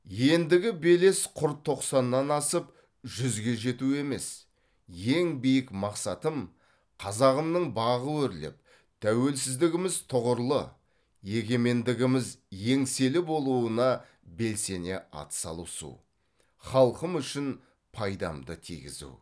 ендігі белес құр тоқсаннан асып жүзге жету емес ең биік мақсатым қазағымның бағы өрлеп тәуелсіздігіміз тұғырлы егемендігіміз еңселі болуына белсене атсалысу халқым үшін пайдамды тигізу